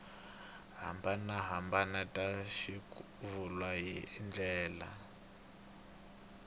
hambanahambana ta swivulwa hi ndlela